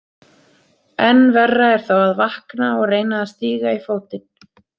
Enn verra er þá að vakna og reyna að stíga í fótinn.